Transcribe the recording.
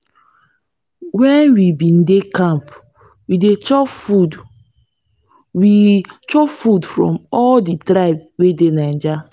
wen we bin dey camp we chop food we chop food from all di tribes wey dey naija.